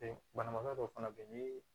banabagatɔ dɔ fana be yen ni